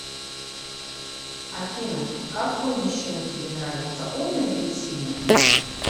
афина какой мужчина тебе нравится умный или сильный